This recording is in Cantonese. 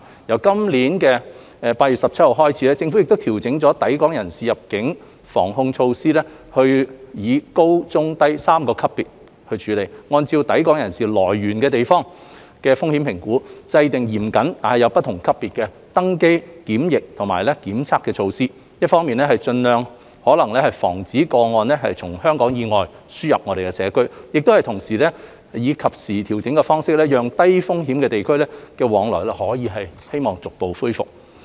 由今年8月17日開始，政府調整抵港人士入境防控措施，以高、中和低3個級別處理，按抵港人士來源地的風險評估，制訂嚴謹但有不同級別的登機、檢疫及檢測措施，一方面盡可能防止個案從香港以外輸入社區，但同時以及時調整的方式，讓低風險地區的往來可以逐步恢復。